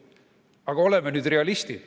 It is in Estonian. Aga oleme nüüd realistid.